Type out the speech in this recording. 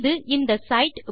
இது இந்த சைட்